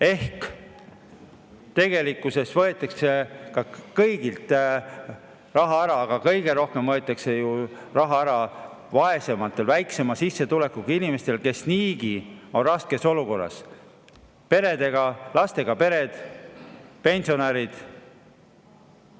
Ehk siis tegelikkuses võetakse kõigilt raha ära, aga kõige rohkem võetakse raha ära vaesematelt, väiksema sissetulekuga inimestelt, kes niigi on raskes olukorras: lastega pered, pensionärid.